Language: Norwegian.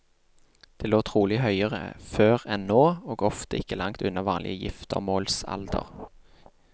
Den lå trolig høyere før enn nå, og ofte ikke langt unna vanlig giftermålsalder.